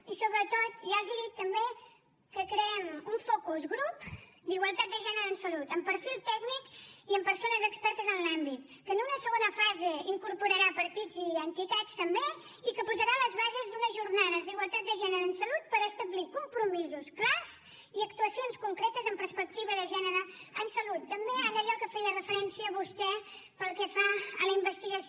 i sobretot ja els dic també que creem un focus grup d’igualtat de gènere en salut amb perfil tècnic i amb persones expertes en l’àmbit que en una segona fase incorporarà partits i entitats també i que posarà les bases d’unes jornades d’igualtat de gènere en salut per establir compromisos clars i actuacions concretes amb perspectiva de gènere en salut també en allò a què feia referència vostè pel que fa a la investigació